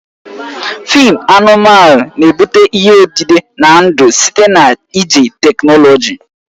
Fịịm anụmanụ na-ebute ihe odide na ndụ site na iji teknọlọji